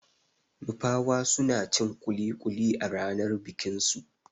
Nupawa suna cin kuli-kuli a ranar bikin su.